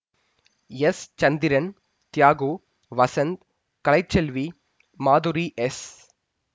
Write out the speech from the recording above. S Chandran Thiyagu Vasanth Kalaiselvi Madhuri S